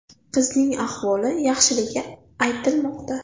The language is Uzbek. Qizning ahvoli yaxshiligi aytilmoqda.